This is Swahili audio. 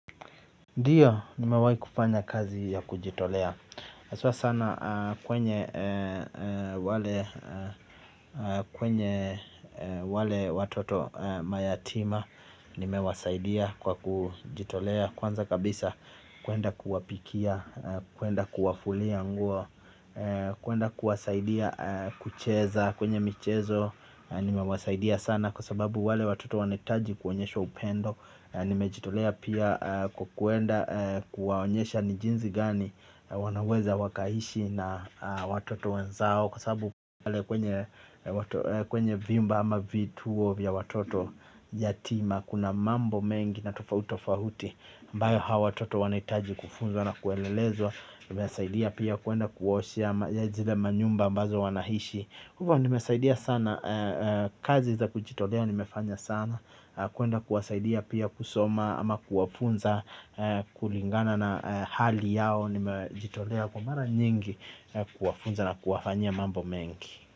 Ndiyo, nimewahi kufanya kazi ya kujitolea haswa sana, kwenye kwenye wale watoto mayatima. Nimewasaidia kwa kujitolea kwanza kabisa kuenda kuwapikia, kuenda kuwafulia nguo. Kuenda kuwasaidia kucheza, kwenye michezo. Nimewasaidia sana kwa sababu wale watoto wanahitaji kuonyeshwa upendo. Nimejitolea pia kwa kuenda kuwaonyesha ni jinsi gani wanaweza wakaishi na watoto wenzao kwa sababu pale kwenye kwenye vyumba ama vituo vya watoto yatima kuna mambo mengi na tofauti tofauti ambayo hawa watoto wanahitaji kufunzwa na kuelelezwa. Nimewasaidia pia kuenda kuwaoshea zile manyumba ambazo wanaishi. Hivyo nimesaidia sana kazi za kujitolea nimefanya sana, kuenda kuwasaidia pia kusoma ama kuwafunza kulingana na hali yao, nimejitolea kwa mara nyingi kuwafunza na kuwafanyia mambo mengi.